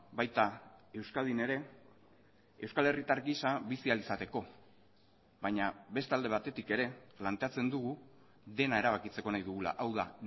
baita euskadin ere euskal herritar giza bizi ahal izateko baina beste alde batetik ere planteatzen dugu dena erabakitzeko nahi dugula hau da